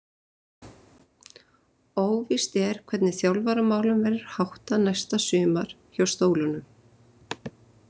Óvíst er hvernig þjálfaramálum verður háttað næsta sumar hjá Stólunum.